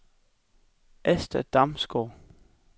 Asta Damsgaard